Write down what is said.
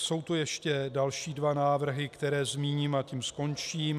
Jsou tu ještě další dva návrhy, které zmíním, a tím skončím.